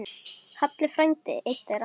Halli frændi einn þeirra.